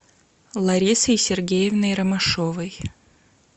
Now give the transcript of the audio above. ларисой сергеевной ромашовой